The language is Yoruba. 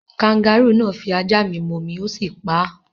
Kangarúù náà fi ajá mi momi, ó sì pa á.